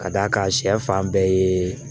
Ka d'a kan sɛ fan bɛɛ ye